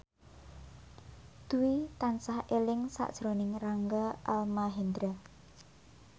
Dwi tansah eling sakjroning Rangga Almahendra